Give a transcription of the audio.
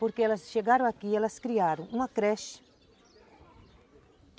Porque elas chegaram aqui, elas criaram uma creche.